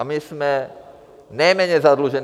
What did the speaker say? A my jsme nejméně zadlužení.